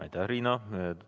Aitäh, Riina!